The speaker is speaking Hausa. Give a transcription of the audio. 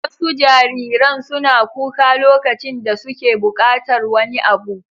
Wasu jariran suna kuka lokacin da suke buƙatar wani abu.